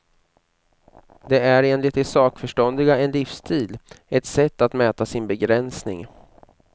Det är enligt de sakförståndiga en livsstil, ett sätt att mäta sin begränsning.